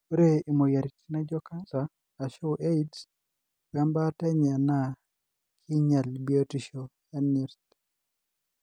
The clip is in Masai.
Ore emoyiaritin naijio cancer arshu AIDS we mbaata enye na kinyial biotisho enyirt.